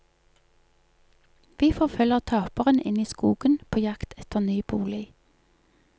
Vi forfølger taperen inn i skogen på jakt etter ny bolig.